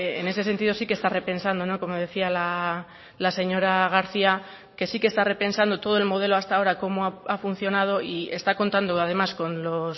en ese sentido sí que está repensando como decía la señora garcía que sí que está repensando todo el modelo hasta ahora cómo ha funcionado y está contando además con los